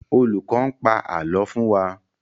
Olùkọ̀ n pa ààlọ́ fún wa